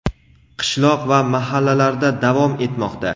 qishloq va mahallalarda davom etmoqda.